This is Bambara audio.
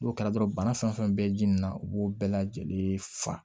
N'o kɛra dɔrɔn bana fɛn fɛn bɛ ji nin na u b'o bɛɛ lajɛlen fa